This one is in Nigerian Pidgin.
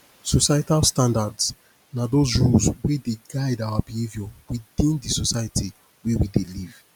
societal standards na those rules wey dey guide our behaviour within di society wey we dey live